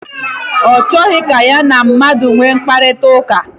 Ọ chọghị ka ya na mmadụ nwee mkparịta ụka.